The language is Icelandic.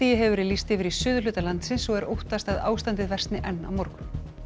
hefur verið lýst yfir í suðurhluta landsins og er óttast að ástandið versni enn á morgun